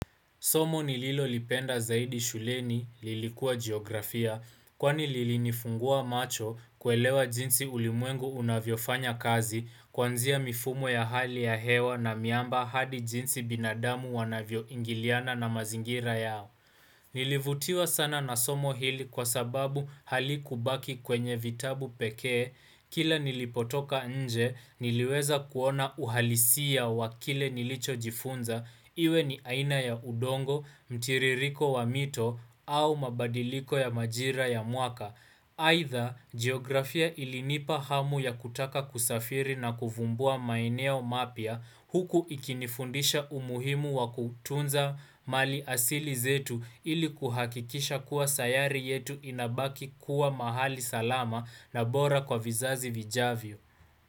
Somo nililo lipenda zaidi shuleni lilikuwa geografia kwani lilini funguwa macho kuelewa jinsi ulimwengu unavyo fanya kazi kwanzia mifumo ya hali ya hewa na miamba hadi jinsi binadamu wanavyo ingiliana na mazingira yao. Nilivutiwa sana na somo hili kwa sababu halikubaki kwenye vitabu pekee. Kila nilipotoka nje niliweza kuona uhalisi ya wakile nilicho jifunza iwe ni aina ya udongo, mtiririko wa mito au mabadiliko ya majira ya mwaka. Aidha, geografia ilinipa hamu ya kutaka kusafiri na kuvumbua maeneo mapya huku ikinifundisha umuhimu wa kutunza mali asili zetu ili kuhakikisha kuwa sayari yetu inabaki kuwa mahali salama na bora kwa vizazi vijavyo.